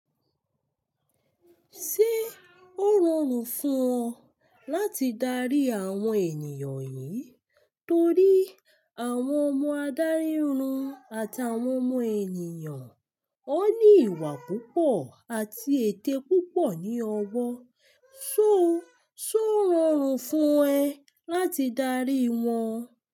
Ṣé ó rọrùn fún ọ láti darí àwọn ènìyàn yìí torí àwọn ọmọ adarí irun àtàwọn ọmọ ènìyàn ó ní ìwà púpọ̀ àti ète púpọ̀ ní ọwọ́, só ò rọrùn fún ẹ láti darí wọn?